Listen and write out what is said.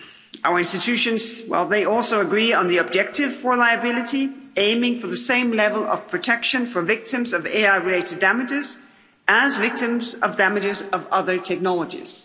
Our institutions also agree on the objective for liability aiming for the same level of protection for victims of AI-related damages, and victims of damages of other technologies.